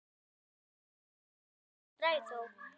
Lóa: Notarðu mikið strætó?